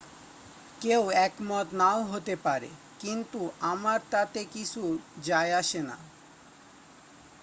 """কেউ একমত নাও হতে পারে কিন্তু আমার তাতে কিছু যাই আসে না""।